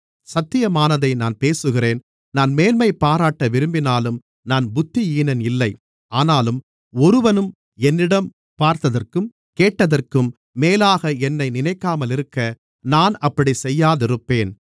சத்தியமானதை நான் பேசுகிறேன் நான் மேன்மைபாராட்ட விரும்பினாலும் நான் புத்தியீனன் இல்லை ஆனாலும் ஒருவனும் என்னிடம் பார்த்ததற்கும் கேட்டதற்கும் மேலாக என்னை நினைக்காமலிருக்க நான் அப்படிச் செய்யாதிருப்பேன்